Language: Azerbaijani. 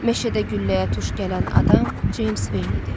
Meşədə gülləyə tuş gələn adam Ceyms Veyin idi.